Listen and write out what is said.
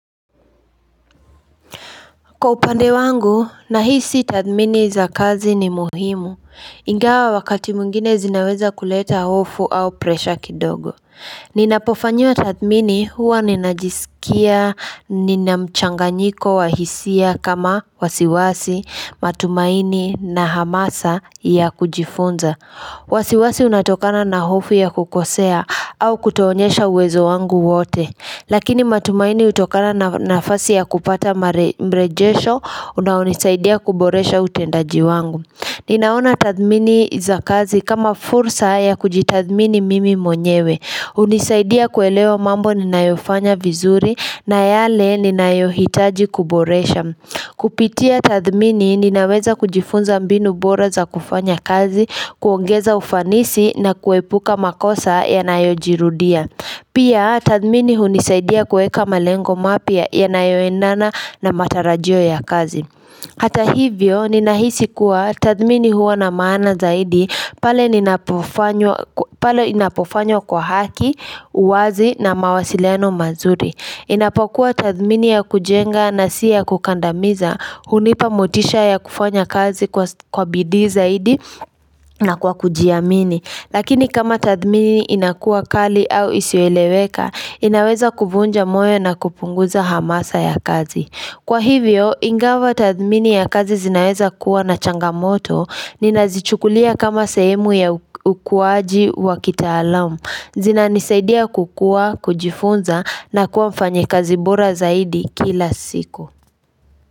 Kwa upande wangu nahisi tathmini za kazi ni muhimu ingawa wakati mwingine zinaweza kuleta hofu au presha kidogo Ninapofanyiwa tathmini huwa ninajisikia nina mchanganyiko wahisia kama wasiwasi matumaini na hamasa ya kujifunza wasiwasi unatokana na hofu ya kukosea au kutoonesha uwezo wangu wote Lakini matumaini utokana na nafasi ya kupata mrejesho unaonis.aidia kuboresha utendaji wangu Ninaona tathmini za kazi kama fursa ya kujitathmini mimi mwenyewe unisaidia kuelewa mambo ninayofanya vizuri na yale ninayohitaji kuboresha Kupitia tathmini ninaweza kujifunza mbinu bora za kufanya kazi, kuongeza ufanisi na kuepuka makosa yanayojirudia Pia tathmini hunisaidia kuweka malengo mapya yanayoendana na matarajio ya kazi. Hata hivyo, ninahisi kuwa tathmini huo na maana zaidi, pale inapofanya kwa haki, uwazi na mawasileno mazuri. Inapokuwa tathmini ya kujenga na si ya kukandamiza, hunipa mutisha ya kufanya kazi kwa bidii zaidi na kwa kujiamini. Lakini kama tathmini inakuwa kali au isiyoelewekaa, inaweza kuvunja moyo na kupunguza hamasa ya kazi. Kwa hivyo, ingava tathmini ya kazi zinaweza kuwa na changamoto, ninazichukulia kama sehemu ya ukuwaji wa kitaalamu. Zina nisaidia kukua, kujifunza na kuwa mfanya kazi bora zaidi kila siku.